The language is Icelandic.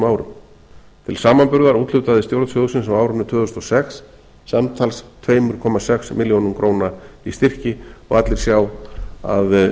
árum til samanburðar úthlutaði stjórn sjóðsins á árinu tvö þúsund og sex samtals tvö komma sex milljónir króna í styrki allir sjá að